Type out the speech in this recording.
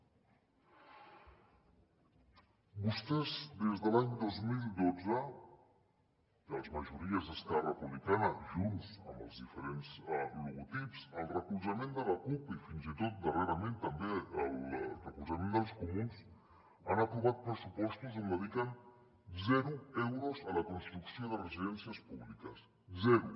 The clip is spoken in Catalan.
vostès des de l’any dos mil dotze les majories d’esquerra republicana junts amb els diferents logotips el recolzament de la cup i fins i tot darrerament també el recol·zament dels comuns han aprovat pressupostos on dediquen zero euros a la cons·trucció de residències públiques zero